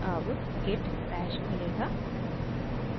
अब git bash खुलेगा